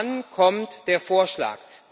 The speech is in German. Wann kommt der Vorschlag?